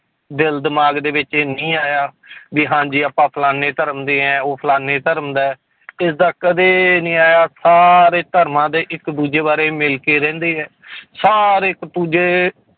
ਦਿਲ ਦਿਮਾਗ ਦੇ ਵਿੱਚ ਇਹ ਨਹੀਂ ਆਇਆ ਵੀ ਹਾਂਜੀ ਆਪਾਂ ਫਲਾਨੇ ਧਰਮ ਦੇ ਹੈ ਉਹ ਫਲਾਨੇ ਧਰਮ ਦਾ ਹੈ ਏਦਾਂ ਕਦੇ ਨੀ ਆਇਆ ਸਾਰੇ ਧਰਮਾਂ ਦੇ ਇੱਕ ਦੂਜੇ ਬਾਰੇ ਮਿਲ ਕੇ ਰਹਿੰਦੇ ਹੈ ਸਾਰੇ ਇੱਕ ਦੂਜੇ